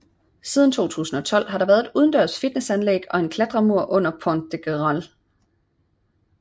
Siden 2012 har der været et udendørs fitnessanlæg og en klatremur under Pont de Grenelle